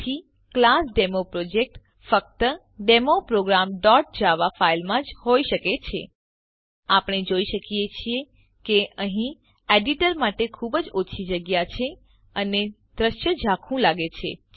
તેથી class demo project ફક્ત demo programજાવા ફાઈલમાં જ હોઈ શકે છે આપણે જોઈ શકીએ છીએ કે અહીં એડીટર માટે ખૂબ જ ઓછી જગ્યા છે અને દૃશ્ય ઝાંખું લાગે છે